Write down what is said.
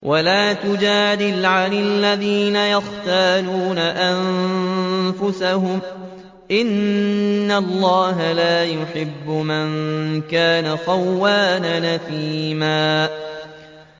وَلَا تُجَادِلْ عَنِ الَّذِينَ يَخْتَانُونَ أَنفُسَهُمْ ۚ إِنَّ اللَّهَ لَا يُحِبُّ مَن كَانَ خَوَّانًا أَثِيمًا